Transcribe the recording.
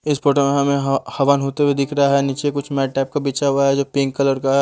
इस फोटो में हमें ह हवन होते हुए दिख रहा नीचे कुछ मैट टाइप का बिछा हुआ जो पिंक कलर का--